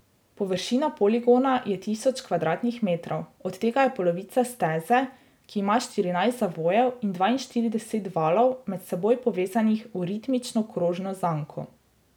Površina poligona je tisoč kvadratnih metrov, od tega je polovica steze, ki ima štirinajst zavojev in dvainštirideset valov, med seboj povezanih v ritmično krožno zanko.